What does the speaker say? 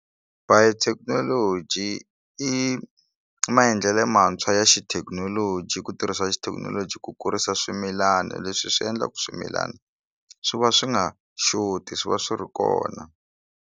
Biotechnology i i maendlelo lantshwa ya xithekinoloji ku tirhisa xithekinoloji ku kurisa swimilani leswi swi endlaka swimilani swi va swi nga xoti swi va swi ri kona.